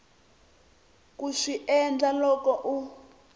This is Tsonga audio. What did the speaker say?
ku swi endla loko u